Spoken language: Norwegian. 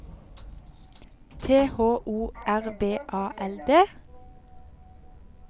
T H O R V A L D